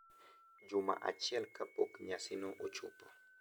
Juma achiel kapok nyasino ochopo